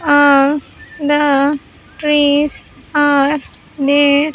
All the trees are there.